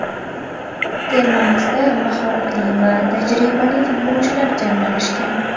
Termamizda mahoratli va tajribali futbolchilar jamlanishgan.